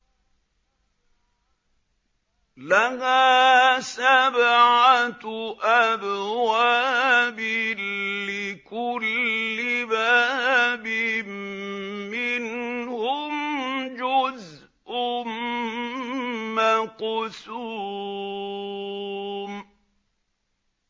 لَهَا سَبْعَةُ أَبْوَابٍ لِّكُلِّ بَابٍ مِّنْهُمْ جُزْءٌ مَّقْسُومٌ